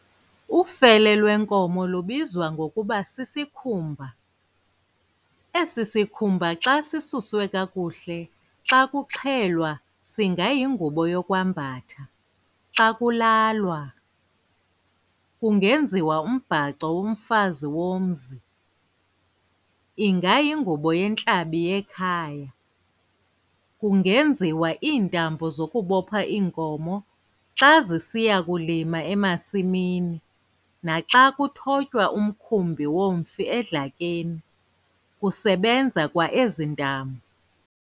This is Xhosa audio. Ufele lwenkomo lubizwa ngokuba sisikhumba, esi sikhumba xa sisuswe kakuhle xa kuxhelwa singayingubo yokwambatha- xa kulalwa, kungenziwa umbhaco womfazi womzi, ingayingubo yentlabi yekhaya, kungeziwa iintambo zokubopha iinkomo xa zisiya kulima emasimini naxa kuthotywa umkhumbi womfi edlakeni kusebenza kwa ezi ntambo.